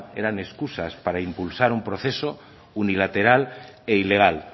eran escusa para impulsar un proceso unilateral e ilegal